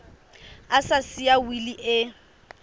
a sa siya wili e